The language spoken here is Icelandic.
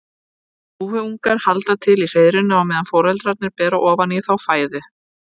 Dúfuungar halda til í hreiðrinu á meðan foreldrarnir bera ofan í þá fæðu.